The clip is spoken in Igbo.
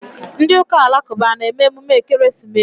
Ndị ụka alakụba a na-eme emume ekeresimesi?